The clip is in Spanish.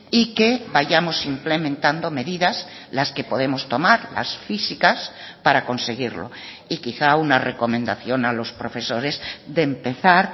y que vayamos implementando medidas las que podemos tomar las físicas para conseguirlo y quizá una recomendación a los profesores de empezar